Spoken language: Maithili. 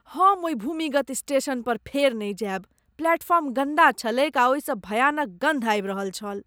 हम ओहि भूमिगत स्टेशनपर फेर नहि जायब। प्लेटफॉर्म गन्दा छलैक आ ओहिसँ भयानक गन्ध आबि रहल छल।